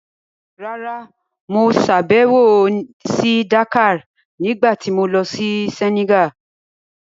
Rárá, mo sàbẹ̀wò sí Dakar nígbà tí mo lọ sí Senegal.